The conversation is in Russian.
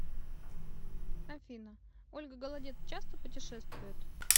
афина ольга голодец часто путешествует